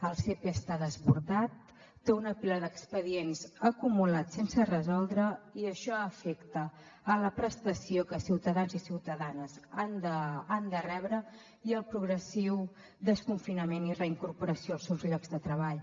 el sepe està desbordat té una pila d’expedients acumulats sense resoldre i això afecta la prestació que ciutadans i ciutadanes han de rebre i els progressius desconfinament i reincorporació als seus llocs de treball